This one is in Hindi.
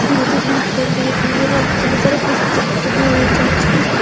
एक लेडीज भाषण दे रही है और बहुत सारे पिक्चर लगी हुई हैं चर्च की --